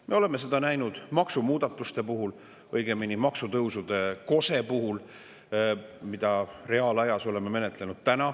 Me oleme seda näinud maksumuudatuste puhul, õigemini maksutõusude kose puhul, mida me oleme täna reaalajas menetlenud.